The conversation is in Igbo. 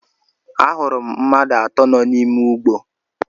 Ahụrụ m mmadụ atọ nọ n'ime ụgbọ.